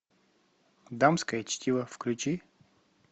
дамское чтиво включи